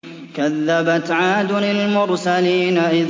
كَذَّبَتْ عَادٌ الْمُرْسَلِينَ